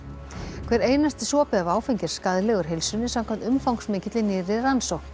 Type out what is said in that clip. hver einasti sopi af áfengi er skaðlegur heilsunni samkvæmt umfangsmikilli nýrri rannsókn